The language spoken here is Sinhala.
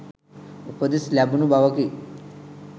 උපදෙස් ලැබුණ බවකි.